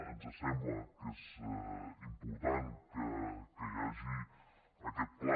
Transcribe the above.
ens sembla que és important que hi hagi aquest pla